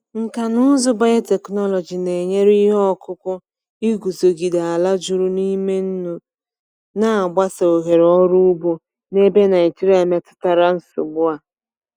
Nkà na ụzụ biotechnology na-enyere ihe ọkụkụ iguzogide ala juru n’ime nnu, na-agbasa ohere ọrụ ugbo n’ebe Naijiria metụtara nsogbu a.